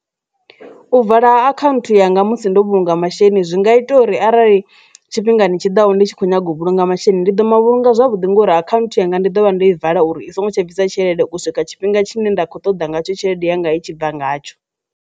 U vala ha akhanthu yanga musi ndo vhulunga masheleni zwi nga ita uri arali tshifhingani tshiḓaho ndi tshi kho nyaga u vhulunga masheleni ndi ḓo mavhunga zwavhuḓi ngori akhanthu yanga ndi dovha nda i vala uri i songo tsha bvisa tshelede u swika tshifhinga tshine nda kho ṱoḓa ngatsho tshelede yanga i tshi bva ngatsho.